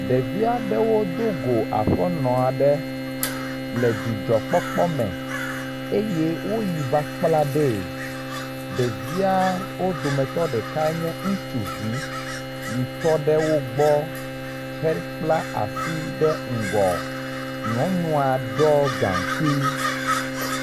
Ɖevia ɖewo do go aƒenɔa ɖe le dzidzɔkpɔkpɔ me eye woyi va kpla ɖee. Ɖevia wo dometɔ ɖeka nye ŋutsuvi yi tɔ ɖe wo gbɔ hekpla asi ɖe ŋgɔ. Nyɔnua ɖɔ gaŋkui.